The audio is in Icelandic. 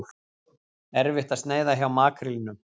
Erfitt að sneiða hjá makrílnum